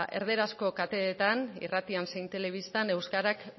erderazko kateetan irratia zein telebistan euskarak